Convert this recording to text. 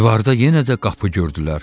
Divarda yenə də qapı gördülər.